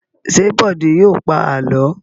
Ṣé Bọ̀dé yóò pa àlọ́?